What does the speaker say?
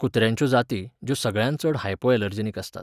कुत्र्यांच्यो जाती, ज्यो सगळ्यांत चड हायपोऍलर्जेनिक आसतात